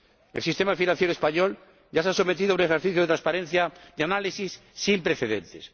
El sistema financiero español ya se ha sometido a un ejercicio de transparencia, de análisis, sin precedentes.